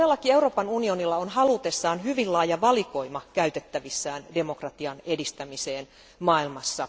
Euroopan unionilla on halutessaan hyvin laaja valikoima keinoja käytettävissään demokratian edistämiseen maailmassa.